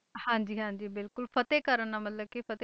ਹਾਂਜੀ ਹਾਂਜੀ ਬਿਲਕੁਲ ਫਤਿਹ ਕਰਨ ਦਾ ਮਤਲਬ ਕਿ ਫਤਿਹ